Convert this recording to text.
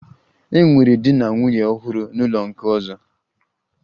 E nwere di na nwunye ọhụrụ n'ụlọ nke ọzọ